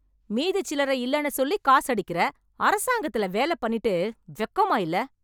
மீதி சில்லறை இல்லன்னு சொல்லி காசு அடிக்கிற, அரசாங்கத்துல வேல பண்ணிட்டு வெக்கமா இல்ல?